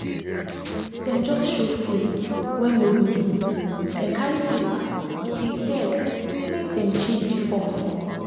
dem just show face wen nobody know dem carry paper dey beg make dem change the form small